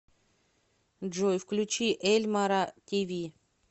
джой включи эльмара ти ви